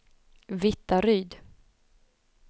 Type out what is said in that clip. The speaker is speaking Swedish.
Vittaryd